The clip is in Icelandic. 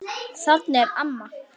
Þarna er amma!